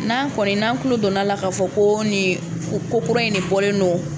N'an kɔni n'an tulo donna a la k'a fɔ ko ni o ko kura in de bɔlen don